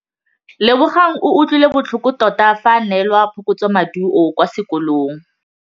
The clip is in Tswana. Lebogang o utlwile botlhoko tota fa a neelwa phokotsômaduô kwa sekolong.